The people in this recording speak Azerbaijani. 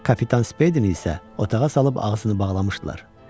Kapitan Spedini isə otağa salıb ağzını bağlamışdılar.